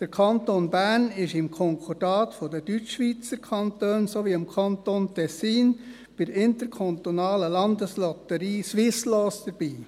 Der Kanton Bern ist im Konkordat der Deutschschweizer Kantone sowie des Kantons Tessin bei der interkantonalen Landeslotterie Swisslos dabei.